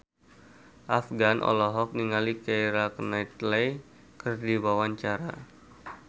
Afgan olohok ningali Keira Knightley keur diwawancara